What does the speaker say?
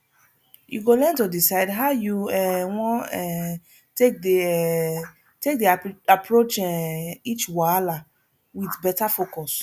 yu go learn to decide how yu um wan um take dey um take dey approach um each wahala wit beta focus